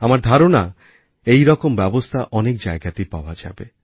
আমার ধারণা এই রকম ব্যবস্থা অনেক জায়গাতেই পাওয়া যাবে